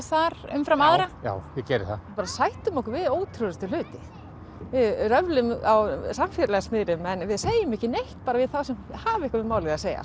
þar umfram aðra já ég geri það bara sættum okkur við ótrúlegustu hluti við röflum á samfélagsmiðlum en segjum ekki neitt bara við þá sem hafa eitthvað um málið að segja